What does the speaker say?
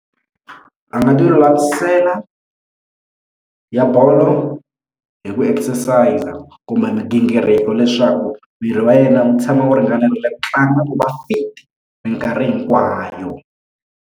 A nga tilulamisela ya bolo hi ku exercise kumbe migingiriko leswaku miri wa yena wu tshama wu ringanela ku tlanga ku va fit mikarhi hinkwayo.